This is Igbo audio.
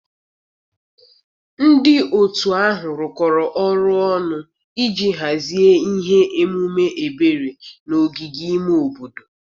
Ndị otu ahụ rụkọrọ ọrụ ọnụ iji hazie ihe omume ebere na ogige ime obodo